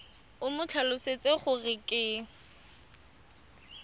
o mo tlhalosetse gore ke